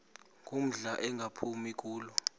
ngumdala engaphumi kulo